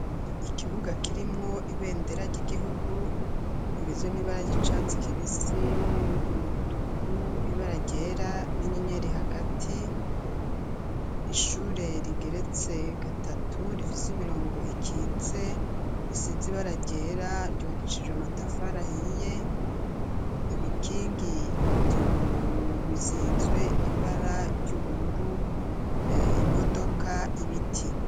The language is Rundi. Ikibuga kirimwo ibendera ry'igihugu ibizo n'ibara ry'icatsi kibisi umutuku ibe aragyera n'inyenyeri hagati ishure rigeretse gatatu rifise imirongo ikitse isizi ibararyera ryuwakicije amatafarahiye ibikingi yobizizwe ibara ry'ubururu imodoka ibiti.